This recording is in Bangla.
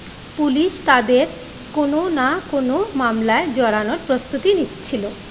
পুলিশ তাদের কোন না কোন মামলায় জড়ানোর প্রস্তুতি নিচ্ছিলো ।